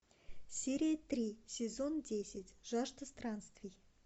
серия три сезон десять жажда странствий